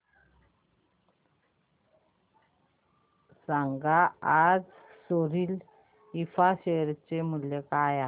सांगा आज Soril infra share चे मूल्य काय आहे